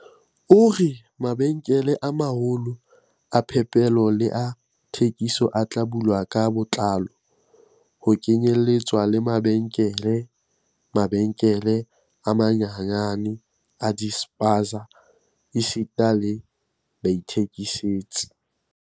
O re, "Mabenkele a ma-holo a phepelo le a thekiso a tla bulwa ka botlalo, ho kenyeletswa le mabenkele, mabenkele a manyenyane a di-spaza esita le baithekisetsi."